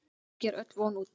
Ekki er öll von úti.